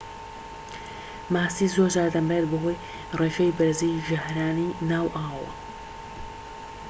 ماسی زۆرجار دەمرێت بەهۆی ڕێژەی بەرزی ژەهرەانی ناو ئاوەوە